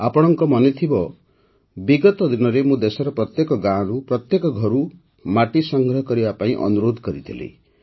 ଆପଣଙ୍କ ମନେ ଥିବ ବିଗତ ଦିନରେ ମୁଁ ଦେଶର ପ୍ରତ୍ୟେକ ଗାଁରୁ ପ୍ରତ୍ୟେକ ଘରୁ ମାଟି ସଂଗ୍ରହ କରିବା ପାଇଁ ଅନୁରୋଧ କରିଥିଲି